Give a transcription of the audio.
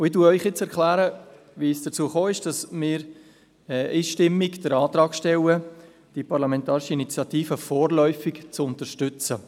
Ich erkläre Ihnen nun, wie es dazu gekommen ist, dass wir einstimmig den Antrag stellen, die Parlamentarische Initiative vorläufig zu unterstützen.